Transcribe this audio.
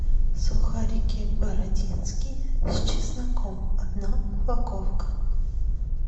сухарики бородинские с чесноком одна упаковка